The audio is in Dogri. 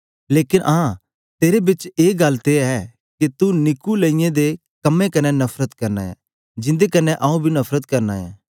लेकन आं तेरे बिच ए गल्ल ते ऐ के तू नीकुलइयों दे कम्में कन्ने नफरत करना ऐ जिंदे कन्ने आऊँ बी नफरत करना ऐ